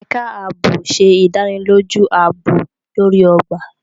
Ẹka ààbò ṣe ìdánilójú aabob lori ogba.